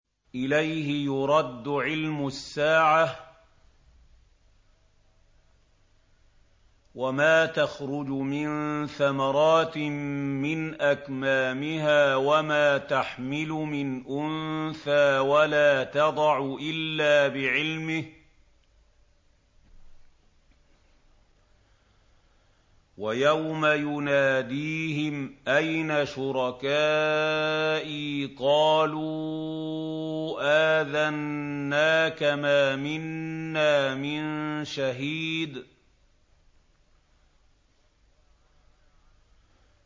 ۞ إِلَيْهِ يُرَدُّ عِلْمُ السَّاعَةِ ۚ وَمَا تَخْرُجُ مِن ثَمَرَاتٍ مِّنْ أَكْمَامِهَا وَمَا تَحْمِلُ مِنْ أُنثَىٰ وَلَا تَضَعُ إِلَّا بِعِلْمِهِ ۚ وَيَوْمَ يُنَادِيهِمْ أَيْنَ شُرَكَائِي قَالُوا آذَنَّاكَ مَا مِنَّا مِن شَهِيدٍ